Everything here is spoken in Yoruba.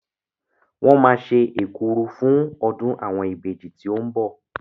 Wọ́n máa ṣe èkuru fún ọdún àwọn ìbejì tí ó ń bọ̀.